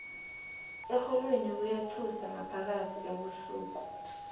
erholweni kuyathusa ngaphakathi ebusuku